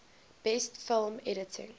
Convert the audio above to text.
best film editing